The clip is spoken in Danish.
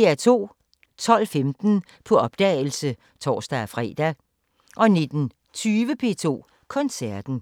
12:15: På opdagelse (tor-fre) 19:20: P2 Koncerten